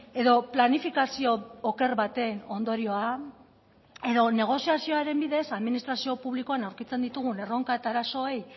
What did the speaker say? edo planifikazio oker baten ondorioa edo negoziazioaren bidez administrazio publikoan aurkitzen ditugun erronka eta arazoei